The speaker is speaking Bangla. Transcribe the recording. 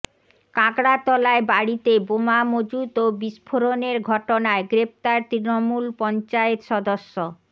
কাঁকড়তলায় বাড়িতে বোমা মজুত ও বিস্ফোরণের ঘটনায় গ্রেফতার তৃণমূল পঞ্চায়েত সদস্য